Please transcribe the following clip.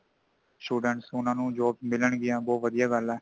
students ਉਨ੍ਹਾਂ ਨੂੰ jobs ਮਿਲਣਗੀਆਂ ਬਹੁਤ ਵਧੀਆ ਗੱਲ ਹੈ |